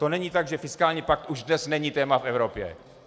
To není tak, že fiskální pakt už dnes není téma v Evropě.